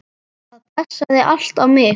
Það passaði allt á mig.